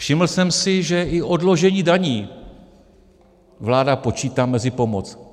Všiml jsem si, že i odložení daní vláda počítá mezi pomoc.